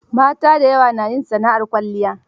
Mata da yawa na yin sana'ar kwalliya.